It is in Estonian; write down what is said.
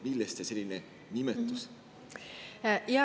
Millest selline nimetus?